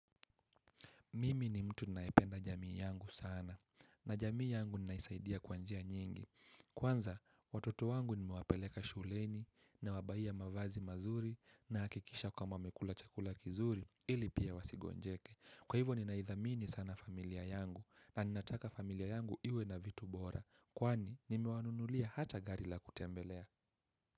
Mimi ni mtu ninayependa jamii yangu sana na jamii yangu ninaisaidia kwa njia nyingi. Kwanza watoto wangu nimewapeleka shuleni nawabaiya mavazi mazuri nahakikisha kwamba wamekula chakula kizuri ili pia wasigonjeke. Kwa hivo ninaithamini sana familia yangu na ninataka familia yangu iwe na vitu bora kwani nimewanunulia hata gari la kutembelea.